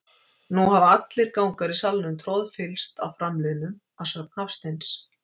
Nú hafa allir gangar í salnum troðfyllst af framliðnum, að sögn Hafsteins.